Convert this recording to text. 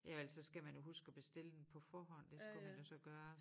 Ja og ellers så skal man jo huske at bestille den på forhånd det skulle man jo så gøre